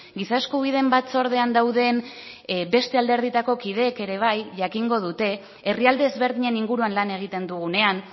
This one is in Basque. giza eskubideen batzordean dauden beste alderdietako kideek ere bai jakingo dute herrialde ezberdinen inguruan lan egiten dugunean